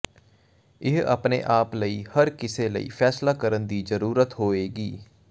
ਇਹ ਆਪਣੇ ਆਪ ਲਈ ਹਰ ਕਿਸੇ ਲਈ ਫੈਸਲਾ ਕਰਨ ਦੀ ਜ਼ਰੂਰਤ ਹੋਏਗੀ